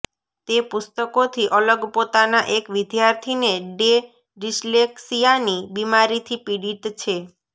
તે પુસ્તકોથી અલગ પોતાના એક વિદ્યાર્થીને ડે ડિસ્લેક્સિયાની બિમારીથી પીડિત છે